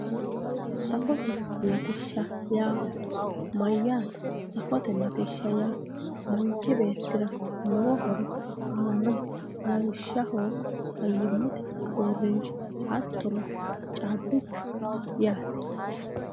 Saffote latishsh yaa mayate saffote latishsha yaa manchi beetira lowo horo aanoha lawishshaho fayimate uurinsha hattono caabichu yaate